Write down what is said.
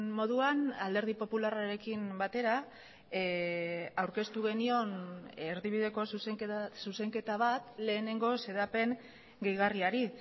moduan alderdi popularrarekin batera aurkeztu genion erdibideko zuzenketa bat lehenengo xedapen gehigarriari